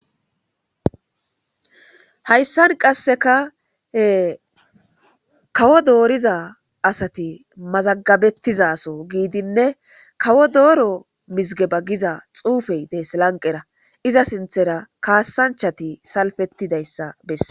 hayssan qasseka kawo dooriza asati mazagabettizaso giidinne kawo dooro mizige bagiza xuufey des lanqera iza sinthera kaassanchati salfetidayssa besse